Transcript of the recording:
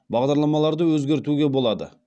бағдарламаларды өзгертуге болады